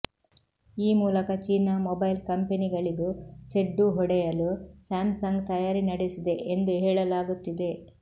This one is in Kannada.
ಈ ಮೂಲಕ ಚೀನಾ ಮೊಬೈಲ್ ಕಂಪೆನಿಗಳಿಗೂ ಸೆಡ್ಡು ಹೊಡೆಯಲು ಸ್ಯಾಮ್ಸಂಗ್ ತಯಾರಿ ನಡೆಸಿದೆ ಎಂದು ಹೇಳಲಾಗುತ್ತಿದೆ